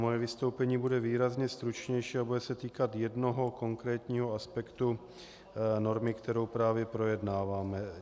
Moje vystoupení bude výrazně stručnější a bude se týkat jednoho konkrétního aspektu normy, kterou právě projednáváme.